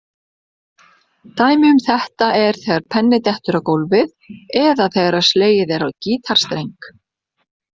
Dæmi um þetta er þegar penni dettur á gólfið eða þegar slegið er á gítarstreng.